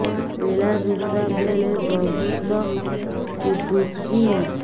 ମିଳାମିଶା ବେଳେ ବହୁତ ପୁଡୁଚି